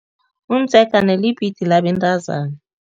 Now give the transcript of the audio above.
Umdzegana libhidi labentazana.